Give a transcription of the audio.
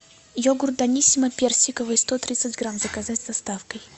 йогурт даниссимо персиковый сто тридцать грамм заказать с доставкой